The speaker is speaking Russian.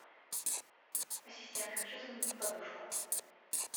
ассистент хочу заменить подушку